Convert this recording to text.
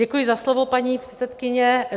Děkuji za slovo, paní předsedkyně.